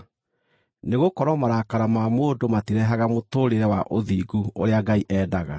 nĩgũkorwo marakara ma mũndũ matirehaga mũtũũrĩre wa ũthingu ũrĩa Ngai endaga.